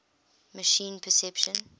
machine perception